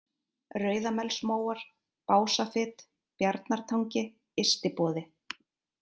Rauðamelsmóar, Básafit, Bjarnatangi, Ystiboði